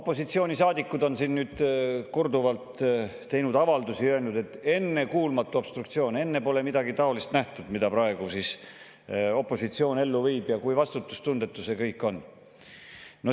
Opositsioonisaadikud on siin korduvalt teinud avaldusi ja öelnud, et see on ennekuulmatu obstruktsioon, et enne pole nähtud midagi taolist, mida opositsioon praegu ellu viib, ja kui vastutustundetu see kõik on.